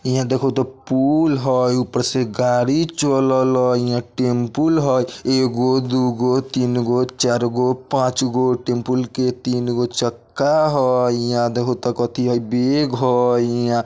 इहाँ देखो तो पुल हई ऊपर से गाड़ी चलल हई इहाँ टैम्पू हई एगो दोगो तीनगो चारगो पाँचगो टैम्पू के तीनगो चक्का हई इहाँ देखो तो कतई बैग हई इहाँ।